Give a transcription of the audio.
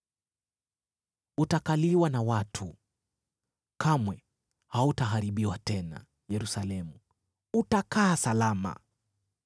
Utakaliwa na watu, kamwe hautaharibiwa tena, Yerusalemu utakaa salama.